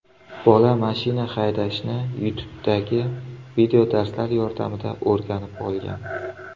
Bola mashina haydashni YouTube’dagi videodarslar yordamida o‘rganib olgan.